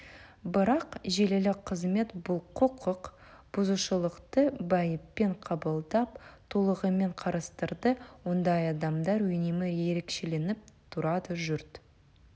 бірақ желілік қызмет бұл құқық бұзушылықты байыппен қабылдап толығымен қарастырды ондай адамдар үнемі ерекшеленіп тұрады жұрт